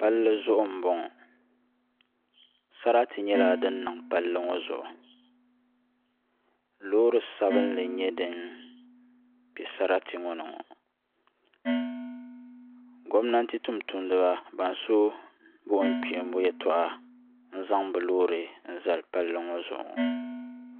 pali zuɣ' n bɔŋɔ saratɛ nyɛla din niŋ pali ŋɔ zuɣ' lori sabinli n nyɛ din bɛ saratɛ maa ni gominantɛ tumituniba ban so bukum tuhiku n zaŋ be lori zali pali ŋɔ zuɣ'